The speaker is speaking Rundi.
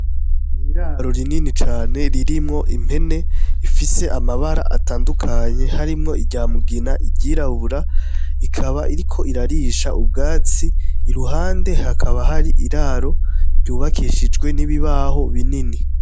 N’iraro rinini cane ririmwo impene rifise amabara atandukanye harimwo irya mugina, iryirabura , ikaba iriko irarisha ubwatsi , iruhande hakaba hari iraro ryubakishijwe n’ibibaho binini.